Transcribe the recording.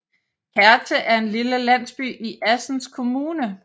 Kerte er en lille landsby i Assens Kommune